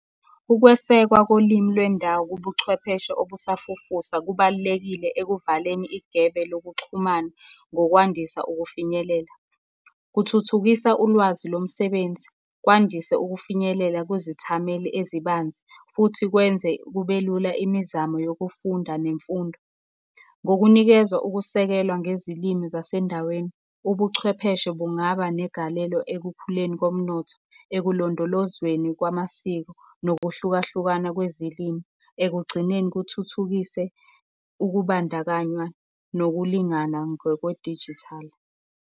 Ukwesekwa kolimi lwendawo kubuchwepheshe obusafufusa kubalulekile ekuvaleni igebe lokuxhumana ngokwandisa ukufinyelela. Kuthuthukisa ulwazi lomsebenzi, kwandise ukufinyelela kuzithameli ezibanzi, futhi kwenze kube lula imizamo yokufunda nemfundo. Ngokunikeza ukusekelwa ngezilimi zasendaweni, ubuchwepheshe bungaba negalelo ekukhuleni komnotho, ekulondolozweni kwamasiko, nokuhlukahlukana kwezilimi, ekugcineni kuthuthukise ukubandakanywa, nokulingana ngokwedijithali.